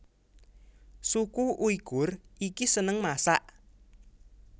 Suku Uighur iki seneng masak